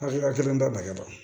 Hakilina kelen tɛ bagɛna